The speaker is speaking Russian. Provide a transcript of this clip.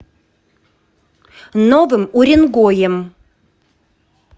новым уренгоем